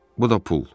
Bu da pul.